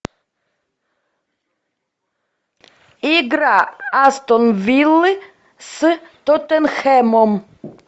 игра астон виллы с тоттенхэмом